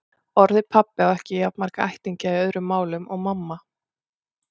Orðið pabbi á ekki jafn marga ættingja í öðrum málum og mamma.